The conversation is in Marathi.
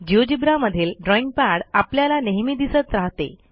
Geogebraमधील ड्रॉईंग पॅड आपल्याला नेहमी दिसत राहते